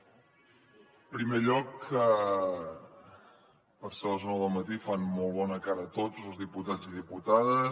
en primer lloc per ser les nou del matí fan molt bona cara tots diputats i diputades